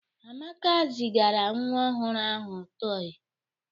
Amaka zigara nwa ọhụrụ ahụ tọị.